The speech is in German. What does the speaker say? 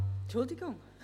Entschuldigung!